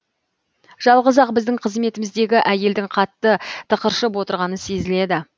жалғыз ақ біздің қызметіміздегі әйелдің қатты тықыршып отырғаны сезіледі